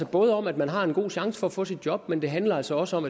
både om at man har en god chance for at få et job men det handler altså også om